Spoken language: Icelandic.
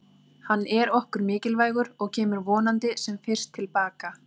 Hann er okkur mikilvægur og kemur vonandi sem fyrst til baka.